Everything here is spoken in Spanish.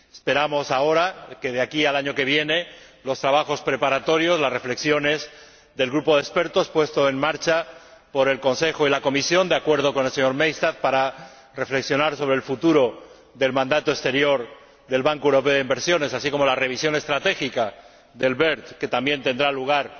Esperamos ahora que, de aquí al año que viene, los trabajos preparatorios y las reflexiones del grupo de expertos puesto en marcha por el Consejo y la Comisión, de acuerdo con el señor Maystadt, para reflexionar sobre el futuro del mandato exterior del Banco Europeo de Inversiones, así como la revisión estratégica del BERD, que también tendrá lugar